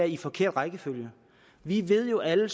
en forkert rækkefølge vi ved jo alle